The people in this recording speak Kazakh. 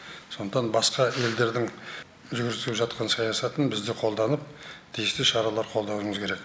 сондықтан басқа елдердің жүргізіп жатқан саясатын біз де қолданып тиісті шаралар қолдануымыз керек